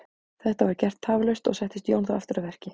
Þetta var gert tafarlaust og settist Jón þá aftur að verki.